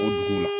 O dugu la